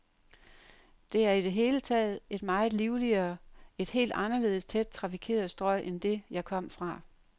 Det er i det hele taget et meget livligere, et helt anderledes tæt trafikeret strøg end det, jeg kom fra.